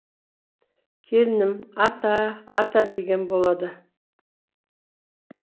келінім ата ата деген болады